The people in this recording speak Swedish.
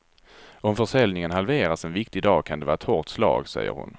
Om försäljningen halveras en viktig dag kan det vara ett hårt slag, säger hon.